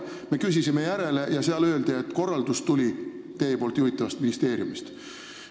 Me küsisime järele ja sealt öeldi, et korraldus tuli teie juhitavast ministeeriumist.